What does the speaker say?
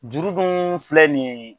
Juru dun filɛ nin ye